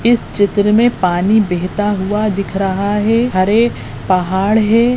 इस चित्र में पानी बहता हुआ दिख रहा है हरे पहाड़ है।